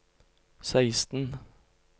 seksten